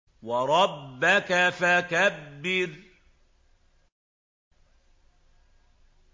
وَرَبَّكَ فَكَبِّرْ